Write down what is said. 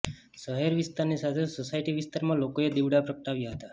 શહેર વિસ્તારની સાથે સોસાયટી વિસ્તારમાં લોકોએ દિવડા પ્રગટાવ્યા હતા